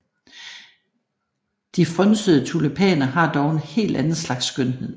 De frynsede tulipaner har dog en helt anden slags skønhed